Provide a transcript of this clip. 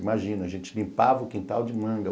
Imagina, a gente limpava o quintal de manga.